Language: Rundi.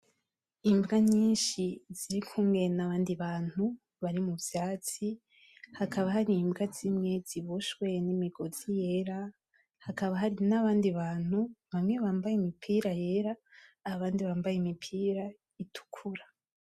Imbwa nyinshi zirikumwe n'abandi bantu bari muvyatsi, hakaba hari Imbwa zimwe ziboshwe nimigozi yera, hakaba hari n'abandi bantu bamwe bambaye Imipira yera, abandi bambaye Imipira itukura.